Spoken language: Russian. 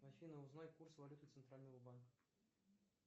афина узнай курс валюты центрального банка